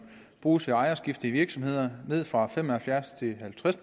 bruges ved ejerskifte i virksomheder ned fra fem og halvfjerds til halvtreds